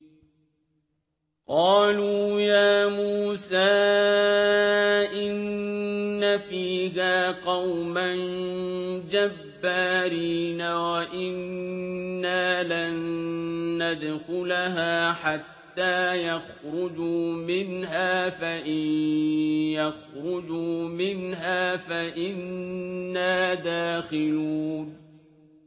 قَالُوا يَا مُوسَىٰ إِنَّ فِيهَا قَوْمًا جَبَّارِينَ وَإِنَّا لَن نَّدْخُلَهَا حَتَّىٰ يَخْرُجُوا مِنْهَا فَإِن يَخْرُجُوا مِنْهَا فَإِنَّا دَاخِلُونَ